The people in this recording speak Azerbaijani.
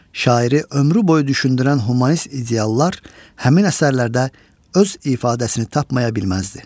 Şairi ömrü boyu düşündürən humanist ideyalar həmin əsərlərdə öz ifadəsini tapmaya bilməzdi.